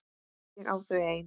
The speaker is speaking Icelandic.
Ég á þau ein.